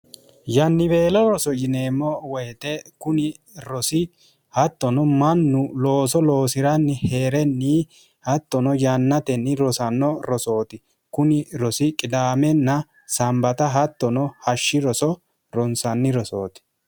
yanniweelo roso yineemmo woyite kuni rosi hattono mannu looso loosi'ranni hee'renni hattono yannatenni rosanno rosooti kuni rosi qidaamenna sambata hattono hashshi roso ronsanni rosooti